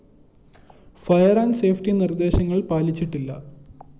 fire and safety നിര്‍ദ്ദേശങ്ങള്‍ പാലിച്ചിട്ടില്ല